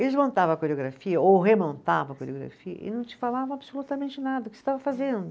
Eles montava a coreografia, ou remontava a coreografia, e não te falava absolutamente nada o que você estava fazendo.